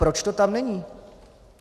Proč to tam není?